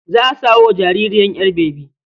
Za a samo wa jaririyar ƴar bebi.